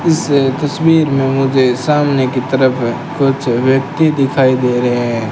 इस तस्वीर में मुझे सामने की तरफ है कुछ व्यक्ति दिखाई दे रहे हैं।